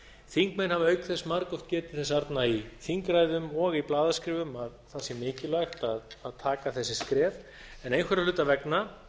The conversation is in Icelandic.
þingmenn hafa auk þess margoft getið þess arna í þingræðum og í blaðaskrifum að það sé mikilvægt að taka þessi skref en einhverra hluta vegna